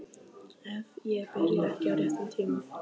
Ef ég byrja ekki á réttum tíma.